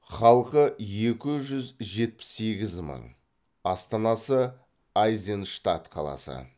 халқы екі жүз жетпіс сегіз мың астанасы айзенштадт қаласы